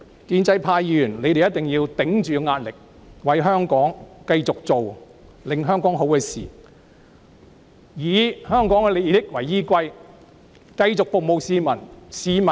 建制派議員一定要頂着壓力，繼續做有利香港的事情，以香港的利益為依歸，繼續服務市民。